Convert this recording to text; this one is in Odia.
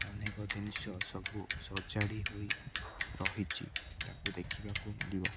ଅନେକ ଜିନିଷ ସବୁ ସଜାଡ଼ି ହୋଇରହିଚି ତାକୁ ଦେଖିବାକୁ ମିଳିବ।